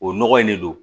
O nɔgɔ in de don